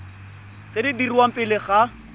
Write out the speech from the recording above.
tse di dirwang pele ga